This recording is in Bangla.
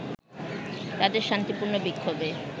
তাদের শান্তিপূর্ণ বিক্ষোভে